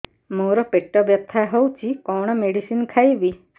ମୋର ପେଟ ବ୍ୟଥା ହଉଚି କଣ ମେଡିସିନ ଖାଇବି